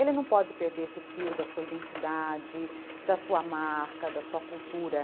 Ele não pode perder esse fio da sua identidade, da sua marca, da sua cultura.